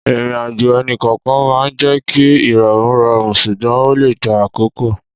Ìrìnàjò ẹnì kọ̀ọ̀kan máa ń jẹ́ kí ìrọ̀rùn rọrùn ṣùgbọ́n ó lè gba àkókò.